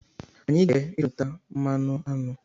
Ha ga-eje ịchụnta mmanụ aṅụ